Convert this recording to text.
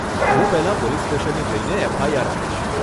હું પહેલાં પોલીસ સ્ટેશને જઈને એફઆઈઆર આપીશ.